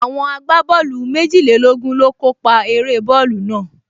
Àwọn agbábọ́ọ̀lù méjìlélógún ló kó pa eré bọ́ọ̀lù náà